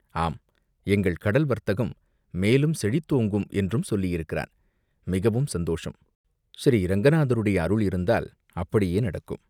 "ஆம், எங்கள் கடல் வர்த்தகம் மேலும் செழித்து ஓங்கும் என்றும் சொல்லியிருக்கிறான்." "மிகவும் சந்தோஷம் ஸ்ரீரங்கநாதருடைய அருள் இருந்தால் அப்படியே நடக்கும்.